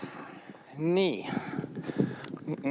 Nii!